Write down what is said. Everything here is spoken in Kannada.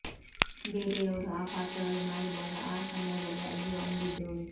ಬೇರೆಯವರು ಆ ಪಾತ್ರಗಳು ಮಾಡಿದಾಗ ಆ ಸಮಯದಲ್ಲಿ ಅಯ್ಯೋ ಅಂದಿದ್ದು ಉಂಟು